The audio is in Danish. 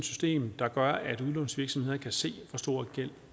system der gør at udlånsvirksomheder kan se hvor stor en gæld